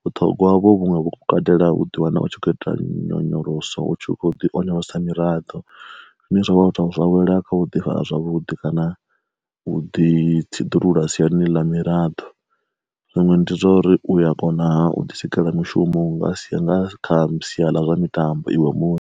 vhuṱhogwa uvho vhuṅwe vhu katela u ḓi wana u tshi kho ita nyonyoloso utshi kho ḓi onyolosa miraḓo zwine zwavha u tea u zwa wela kha u ḓi fara zwavhuḓi kana u ḓi tsiḓulula siani ḽa miraḓo. Zwiṅwe ndi zwauri uya kona u ḓi sikela mushumo nga sa kha sia ḽa zwa mitambo iwe muṋe.